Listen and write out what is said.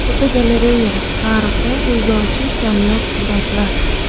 Fotogalereya: Tarixdan so‘zlovchi kamyob suratlar.